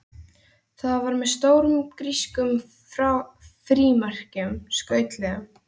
Það var með stórum grískum frímerkjum, skrautlegum.